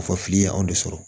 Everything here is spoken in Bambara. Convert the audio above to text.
A fɔ fili ye anw de sɔrɔ